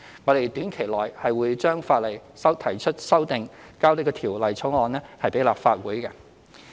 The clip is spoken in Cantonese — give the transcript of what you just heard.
我們短期內會對法例提出修訂，並將有關法案提交立法會。